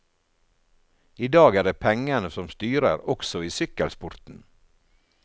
I dag er det pengene som styrer også i sykkelsporten.